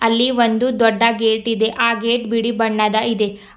ಅಲ್ಲಿ ಒಂದು ದೊಡ್ಡ ಗೇಟ್ ಇದೆ ಆ ಗೇಟ್ ಬಿಳಿ ಬಣ್ಣದ ಇದೆ.